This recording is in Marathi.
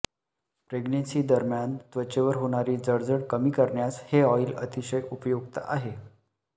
प्रेग्नेंन्सीदरम्यान त्वचेवर होणारी जळजळ कमी करण्यास हे ऑइल अतिशय उपयुक्त आहे